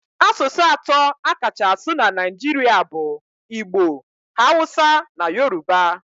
Asụsụ atọ a kacha asụ na Naịjirịa bụ igbo, hawusa na yoruba.